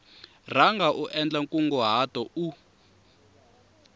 rhanga u endla nkunguhato u